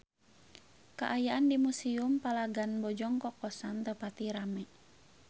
Kaayaan di Museum Palagan Bojong Kokosan teu pati rame